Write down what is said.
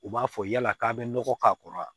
U b'a fɔ yala k'a bɛ nɔgɔ k'a kɔrɔ wa